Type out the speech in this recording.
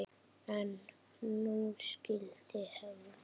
En nú skyldi hefnt.